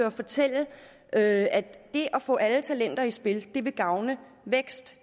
og fortælle at det at få alle talenter i spil vil gavne vækst